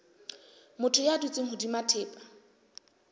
motho ya dutseng hodima thepa